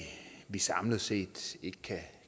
vi samlet set ikke